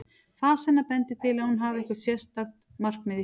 Fas hennar bendir til að hún hafi eitthvert alveg sérstakt markmið í huga.